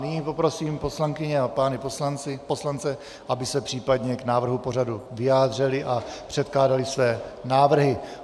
Nyní prosím poslankyně a pány poslance, aby se případně k návrhu pořadu vyjádřili a předkládali své návrhy.